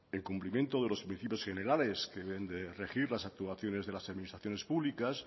en cumplimiento de los principios generales que deben de regir las actuaciones de las administraciones públicas